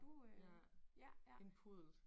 Ja. En puddel